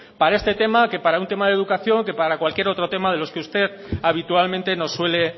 para este tema que para un tema de educación que para cualquier otro tema de los que usted habitualmente nos suele